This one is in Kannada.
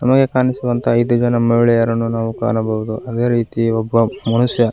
ನಮಗೆ ಕಾಣಿಸುವಂತಹ ಐದು ಜನ ಮಹಿಳೆಯರನ್ನು ನಾವು ನೋಡಬಹುದು ಅದೇ ರೀತಿ ಒಬ್ಬ ಮನುಷ್ಯ --